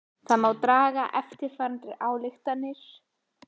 Þá má draga eftirfarandi ályktanir: